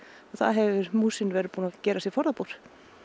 þar hefur músin verið búin að gera sér forðabúr